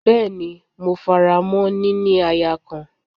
Bẹ́ẹ́ni, mo faramọ́ “ níní aya kan”.